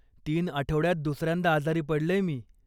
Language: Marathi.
तीन आठवड्यात दुसऱ्यांदा आजारी पडलेय मी.